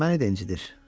Məni də incidir.